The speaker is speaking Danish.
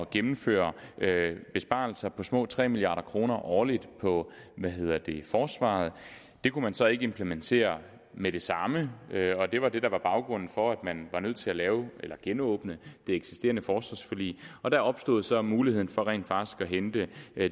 gennemføre besparelser på små tre milliard kroner årligt på forsvaret det kunne man så ikke implementere med det samme og det var det der var baggrunden for at man var nødt til at genåbne det eksisterende forsvarsforlig og der opstod så muligheden for rent faktisk at hente